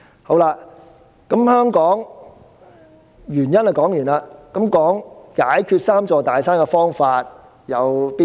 說過原因後，我便談談解決"三座大山"的方法。